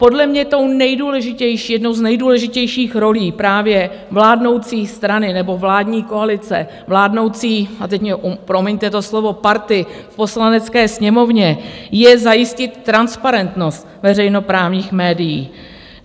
Podle mě tou nejdůležitější, jednou z nejdůležitějších rolí právě vládnoucí strany, nebo vládní koalice, vládnoucí - a teď mi promiňte to slovo - party v Poslanecké sněmovně je zajistit transparentnost veřejnoprávních médií.